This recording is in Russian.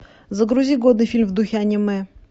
загрузи годный фильм в духе аниме